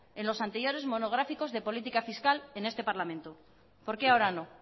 en los anteriores monográficos de política fiscal en este parlamento por qué ahora no